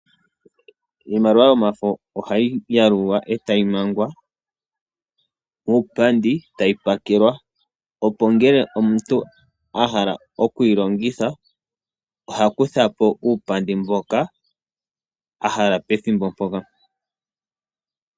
Iimaliwa yomafo ohayi yalulwa e tayi mangwa uupandi e tayi pakelwa, opo omuntu okwa hala okuyi longitha oha kutha po uupandi mboka a hala pethimbo mpoka.